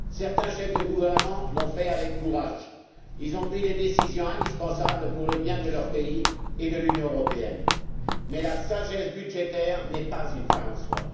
Certains chefs de gouvernement ont pris avec courage des décisions indispensables pour le bien de leur pays et de l'Union européenne, mais la sagesse budgétaire n'est pas une fin en soi.